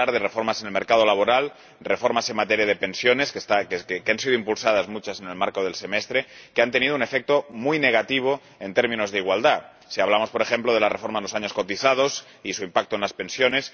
Y puedo hablar de reformas en el mercado laboral, reformas en materia de pensiones —que han sido impulsadas muchas en el marco del Semestre— que han tenido un efecto muy negativo en términos de igualdad si hablamos, por ejemplo, de la reforma de los años cotizados y su impacto en las pensiones